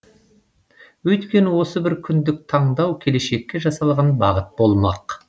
өйткені осы бір күндік таңдау келешекке жасалған бағыт болмақ